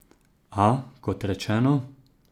A, kot rečeno.